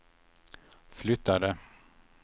flyttade